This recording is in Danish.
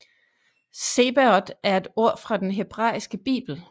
Zebaot er et ord fra den hebraiske bibel